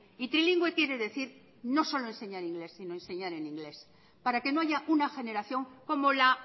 y trilingüe quiere decir no solo enseñar ingles sino enseñar en ingles para que no haya una generación como la